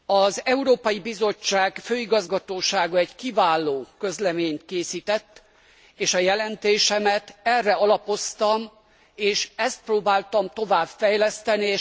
Az Európai Bizottság főigazgatósága egy kiváló közleményt készített, és a jelentésemet erre alapoztam, és ezt próbáltam tovább fejleszteni.